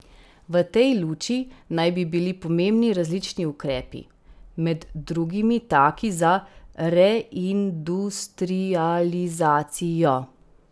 V tej luči naj bi bili pomembni različni ukrepi, med drugimi taki za reindustrializacijo.